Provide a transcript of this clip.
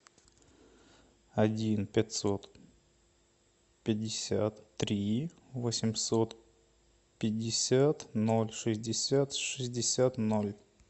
один пятьсот пятьдесят три восемьсот пятьдесят ноль шестьдесят шестьдесят ноль